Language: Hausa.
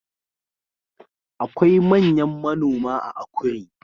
Akwai manyan manoma a Akure